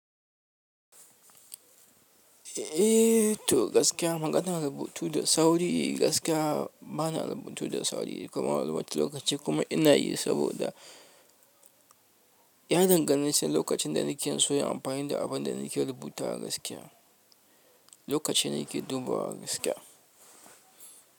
Eh to gaskiya, maganar rubutu da sauri gaskiya bana rubutu da sauri kuma a wani wata lokaci kuma ina yi saboda ya dangana sai lokacin da nake so yi amfani da abin da nake rubuta gaskiya, lokacin da nake dubawa gaskiya.